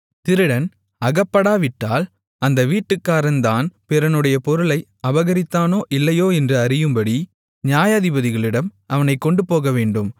திருடன் அகப்படாவிட்டால் அந்த வீட்டுக்காரன் தான் பிறனுடைய பொருளை அபகரித்தானோ இல்லையோ என்று அறியும்படி நியாயாதிபதிகளிடம் அவனைக் கொண்டுபோகவேண்டும்